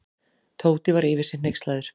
Tóti var yfir sig hneykslaður.